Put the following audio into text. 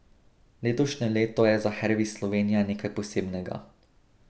Letošnje leto je za Hervis Slovenija nekaj posebnega.